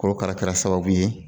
Korokara kɛra sababu ye